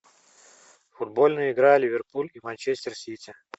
футбольная игра ливерпуль и манчестер сити